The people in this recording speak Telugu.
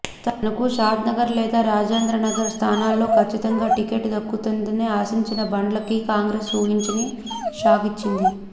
తనకు షాద్నగర్ లేదా రాజేంద్రనగర్ స్థానాల్లో ఖచ్చితంగా టిక్కెట్ దక్కుతుందని ఆశించిన బండ్లకి కాంగ్రెస్ ఊహించని షాక్ ఇచ్చింది